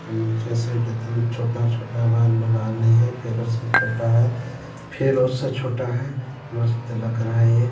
नीचे से एदम छोटा-छोटा बाल है उससे छोटा है फिर उससे छोटा है मस्त लग रहा है ये।